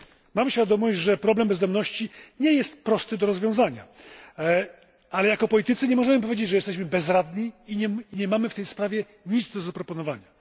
Mamy świadomość, że problem bezdomności nie jest prosty do rozwiązania, ale jako politycy nie możemy powiedzieć, że jesteśmy bezradni i nie mamy w tej sprawie nic do zaproponowania.